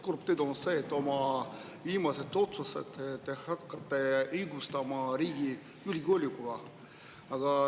Kurb tõde on see, et oma viimaseid otsuseid te hakkate õigustama riigi julgeolekuga.